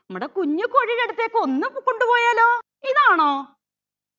നമ്മുടെ കുഞ്ഞു കോഴിയുടെ അടുത്തേക്ക് ഒന്ന് കൊണ്ടുപോയാലോ ഇതാണോ